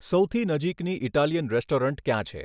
સૌથી નજીકની Italian restaurant ક્યાં છે